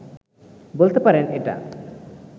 বলতে পারেন এটা